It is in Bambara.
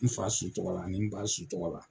N fa su tɔgɔ la ani n ba su tɔgɔ la.